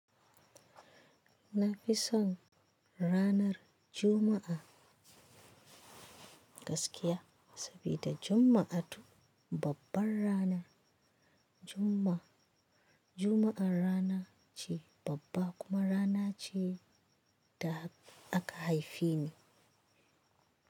Na fi son ranar Juma'a gaskiya sabida Juma'a to babban rana. Juma'a rana ce babba kuma rana ce da aka haife ni.